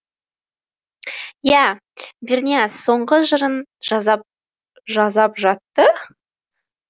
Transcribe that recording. иә бернияз соңғы жырын жазап жатты